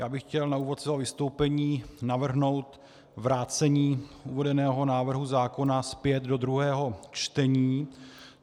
Já bych chtěl na úvod svého vystoupení navrhnout vrácení uvedeného návrhu zákona zpět do druhého čtení.